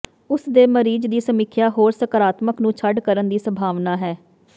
ਉਸ ਦੇ ਮਰੀਜ਼ ਦੀ ਸਮੀਖਿਆ ਹੋਰ ਸਕਾਰਾਤਮਕ ਨੂੰ ਛੱਡ ਕਰਨ ਦੀ ਸੰਭਾਵਨਾ ਹੈ